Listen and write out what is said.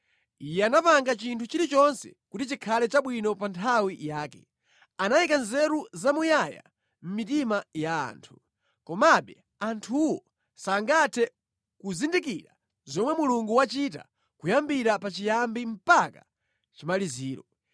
Iye anapanga chinthu chilichonse kuti chikhale chabwino pa nthawi yake. Anayika nzeru zamuyaya mʼmitima ya anthu; komabe anthuwo sangathe kuzindikira zomwe Mulungu wachita kuyambira pa chiyambi mpaka chimaliziro.